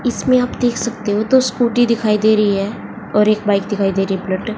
इसमें आप देख सकते हो दो स्कूटी दिखाई दे रही है और एक बाइक दिखाई दे रही है बुलेट ।